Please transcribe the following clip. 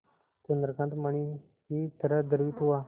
चंद्रकांत मणि ही तरह द्रवित हुआ